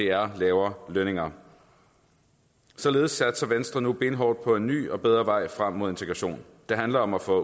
er lavere lønninger således satser venstre nu benhårdt på en ny og bedre vej frem mod integration det handler om at få